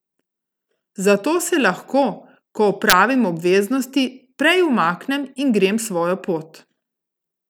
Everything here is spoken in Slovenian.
Zato se lahko, ko opravim obveznosti, prej umaknem in grem svojo pot.